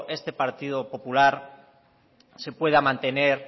este partido popular se pueda mantener